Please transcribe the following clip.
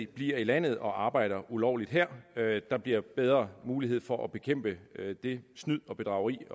bliver i landet og arbejder ulovligt her der bliver bedre mulighed for at bekæmpe det snyd og bedrageri